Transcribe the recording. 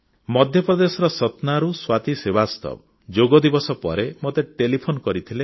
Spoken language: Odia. ମଧ୍ୟପ୍ରଦେଶର ସତ୍ନାରୁ ସ୍ୱାତୀ ଶ୍ରୀବାସ୍ତବ ଯୋଗଦିବସ ପରେ ମୋତେ ଟେଲିଫୋନ କରିଥିଲେ